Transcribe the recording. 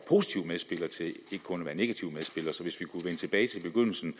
en negativ medspiller så hvis vi kunne vende tilbage til begyndelsen